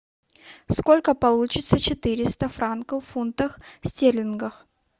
сколько получится четыреста франков в фунтах стерлингов